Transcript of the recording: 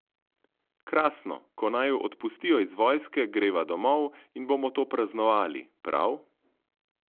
Krasno, ko naju odpustijo iz vojske, greva domov in bomo to praznovali, prav?